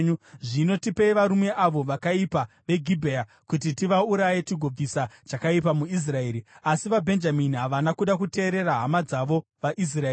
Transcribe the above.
Zvino tipei varume avo vakaipa veGibhea kuti tivauraye tigobvisa chakaipa muIsraeri.” Asi vaBhenjamini havana kuda kuteerera hama dzavo vaIsraeri.